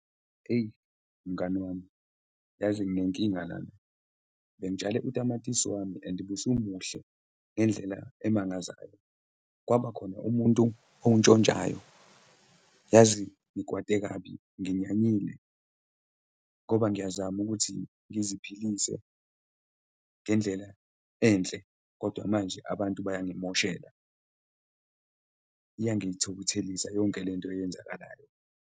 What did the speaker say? Eyi, mngani wami, uyazi nginenkinga lana. Bengitshale utamatisi wami and ubusumuhle ngendlela emangazayo, kwaba khona umuntu owuntshontshayo. Yazi ngikwate kabi, nginyanyile ngoba ngiyazama ukuthi ngiziphilise ngendlela enhle, kodwa manje abantu bayangimoshela. Iyangithukuthelisa yonke le nto eyenzakalayo.